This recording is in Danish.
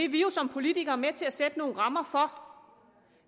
vi jo som politikere med til at sætte nogle rammer for